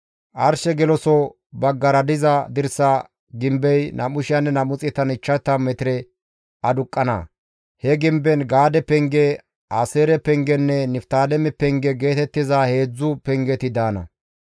Arshe geloso baggara diza dirsa gimbey 2,250 metire aduqqana; he gimben Gaade penge, Aaseere pengenne Niftaaleme penge geetettiza heedzdzu pengeti daana.